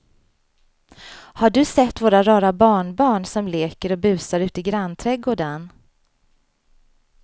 Har du sett våra rara barnbarn som leker och busar ute i grannträdgården!